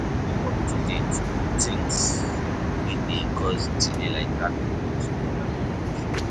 Stay up to date with things wey dey cause delay like traffic news and weather condition